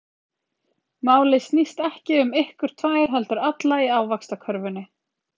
Málið snýst ekki um ykkur tvær, heldur alla í Ávaxtakörfunni.